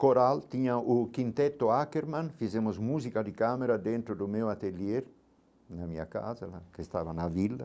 Coral, tinha o quinteto Ackerman, fizemos música de câmera dentro do meu ateliê, na minha casa né, que estava na vila.